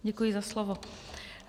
Děkuji za slovo.